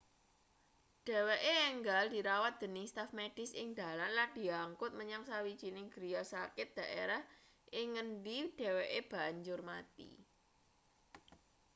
dheweke enggal dirawat dening staf medis ing dalan lan diangkut menyang sawijining griya sakit daerah ing ngendi dheweke banjur mati